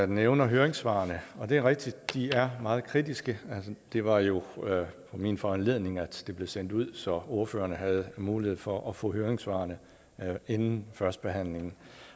nævner høringssvarene og det er rigtigt at de er meget kritiske det var jo på min foranledning at det blev sendt ud så ordføreren havde mulighed for at få høringssvarene inden førstebehandlingen